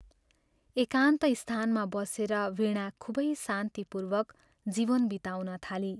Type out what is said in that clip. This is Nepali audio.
एकान्त स्थानमा बसेर वीणा खूबै शान्तिपूर्वक जीवन बिताउन थाली।